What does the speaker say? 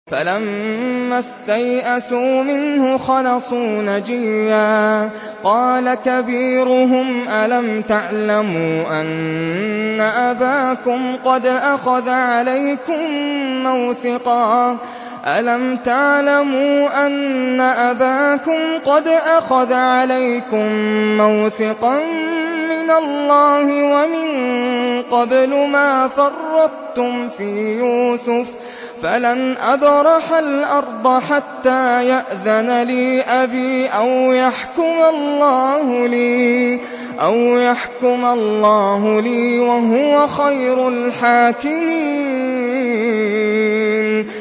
فَلَمَّا اسْتَيْأَسُوا مِنْهُ خَلَصُوا نَجِيًّا ۖ قَالَ كَبِيرُهُمْ أَلَمْ تَعْلَمُوا أَنَّ أَبَاكُمْ قَدْ أَخَذَ عَلَيْكُم مَّوْثِقًا مِّنَ اللَّهِ وَمِن قَبْلُ مَا فَرَّطتُمْ فِي يُوسُفَ ۖ فَلَنْ أَبْرَحَ الْأَرْضَ حَتَّىٰ يَأْذَنَ لِي أَبِي أَوْ يَحْكُمَ اللَّهُ لِي ۖ وَهُوَ خَيْرُ الْحَاكِمِينَ